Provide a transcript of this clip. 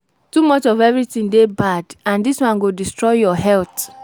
Too much of everything dey bad and dis one go destroy your health